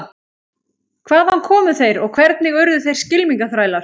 Hvaðan komu þeir og hvernig urðu þeir skylmingaþrælar?